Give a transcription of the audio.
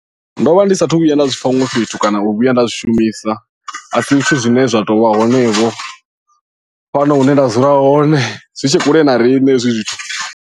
Ndo vha ndi sathu vhuya nda zwipfha huṅwe fhethu kana u vhuya nda zwi shumisa a si zwithu zwine zwa tou vha hone vho fhano hune nda dzula hone zwi tshe kule na riṋe hezwi zwithu.